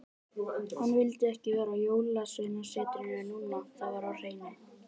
Hann vildi ekki vera á Jólasveinasetrinu núna, það var á hreinu.